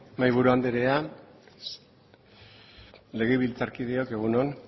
mahaiburu andrea legebiltzarkideok egun on